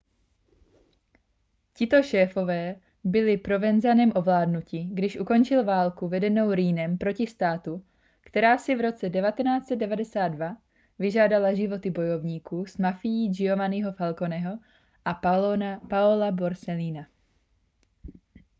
tito šéfové byli provenzanem ovládnuti když ukončil válku vedenou riinem proti státu která si v roce 1992 vyžádala životy bojovníků s mafií giovanniho falconeho a paola borsellina